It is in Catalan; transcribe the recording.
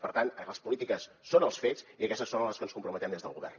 per tant les polítiques són els fets i aquestes són a les que ens comprometem des del govern